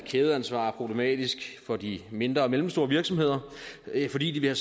kædeansvar er problematisk for de mindre og mellemstore virksomheder fordi de vil